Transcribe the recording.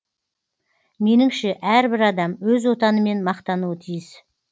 меніңше әрбір адам өз отанымен мақтануы тиіс